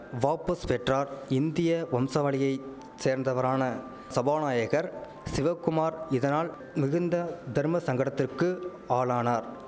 வாபஸ் பெற்றார் இந்திய வம்சா வழியை சேர்ந்தவரான சபாநாயகர் சிவக்குமார் இதனால் மிகுந்த தர்ம சங்கடத்திற்கு ஆளானார்